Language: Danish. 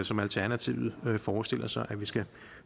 som alternativet forestiller sig at vi skal